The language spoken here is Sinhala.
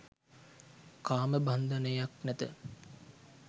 කාමබන්ධනයක් නැත